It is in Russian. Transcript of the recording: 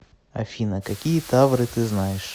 афина какие тавры ты знаешь